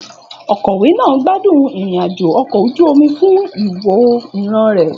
Òkọ̀wé náà gbádùn ìrìn-àjò ọkọ̀ ojú omi fún ìwò ìran rẹ̀.